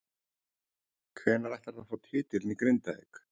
Hvenær ætlarðu að fá titilinn í Grindavík?